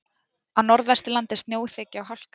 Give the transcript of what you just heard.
Á Norðvesturlandi er snjóþekja og hálka